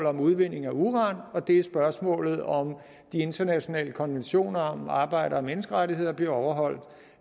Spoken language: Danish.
om udvinding af uran og det er i spørgsmålet om at de internationale konventioner om arbejder og menneskerettigheder bliver overholdt